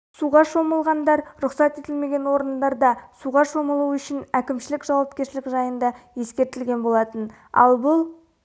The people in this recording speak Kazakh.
суға шомылғандар рұқсат етілмеген орындарда суға шомылу үшін әкімшілік жауапкершілік жайында ескертілген болатын ал бұл